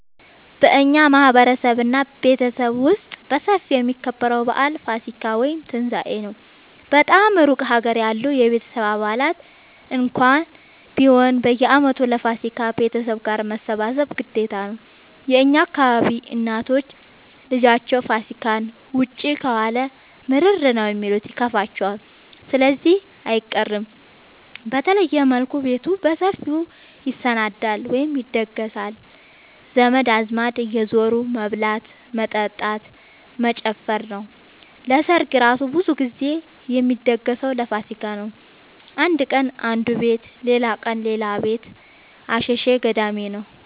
በእኛ ማህበረሰብ እና ቤተሰብ ውስጥ በሰፊው የሚከበረው በአል ፋሲካ(ትንሳኤ) ነው። በጣም እሩቅ ሀገር ያሉ የቤተሰብ አባላት እንኳን ቢሆኑ በየአመቱ ለፋሲካ ቤተሰብ ጋር መሰብሰብ ግዴታ ነው። የእኛ አካባቢ እናቶች ልጃቸው ፋሲካን ውጪ ከዋለ ምርር ነው የሚሉት ይከፋቸዋል ስለዚህ አይቀርም። በተለየ መልኩ ቤቱ በሰፊው ይሰናዳል(ይደገሳል) ዘመድ አዝማድ እየዙሩ መብላት መጠጣት መጨፈር ነው። ሰርግ እራሱ ብዙ ግዜ የሚደገሰው ለፋሲካ ነው። አንድ ቀን አነዱ ቤት ሌላቀን ሌላ ቤት አሸሸ ገዳሜ ነው።